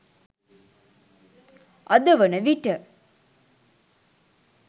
අද වන විට